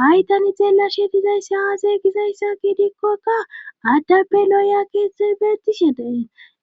Hay tani xeelashe dizaysse haazaygizayssakidikkokka addappe looya keetthey beettishideen